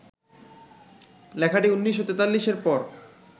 লেখাটি ১৯৪৩-এর পর